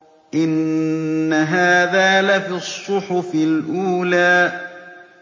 إِنَّ هَٰذَا لَفِي الصُّحُفِ الْأُولَىٰ